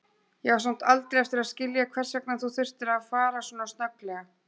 Ég á samt aldrei eftir að skilja hvers vegna þú þurftir að fara svona snögglega.